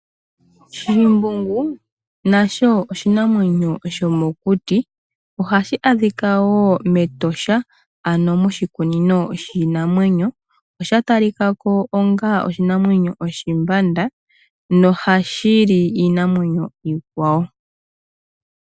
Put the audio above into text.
Shimbungu nasho oshinamwenyo shomokuti. Ohashi adhika wo mEtosha, ano moshikunino shiinamwenyo. Osha talika ko onga oshinamwenyo oshimbanda, nohashi li iinamwenyo iikwawo.